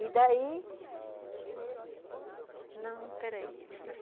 E daí... Não, espera aí.